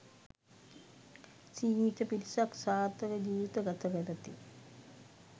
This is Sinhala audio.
සීමිත පිරිසක් සාර්ථක ජීවිත ගත කරති.